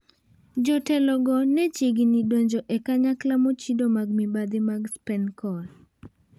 Jotelogo ne chiegini donjo e kanyakla mochido mag mibadhi mag Spencon.